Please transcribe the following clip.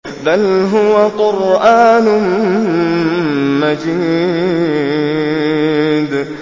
بَلْ هُوَ قُرْآنٌ مَّجِيدٌ